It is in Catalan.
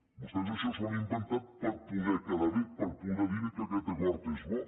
vostès això s’ho han inventat per poder quedar bé per poder dir que aquest acord és bo